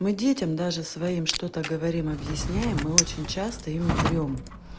мы детям даже своим что-то говорим объясняем мы очень часто им врём